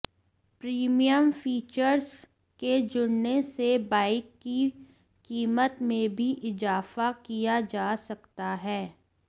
premium features के जुड़ने से बाइक की कीमत में भी इजाफा किया जा सकता है